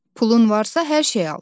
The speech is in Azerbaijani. Pulun varsa hər şey al.